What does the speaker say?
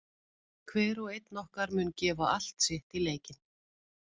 Hver og einn okkar mun gefa allt sitt í leikinn.